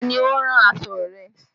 Ta ni ó rán aṣọ rẹ?